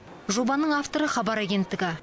жобаның авторы хабар агенттігі